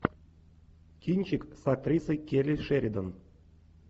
кинчик с актрисой келли шеридан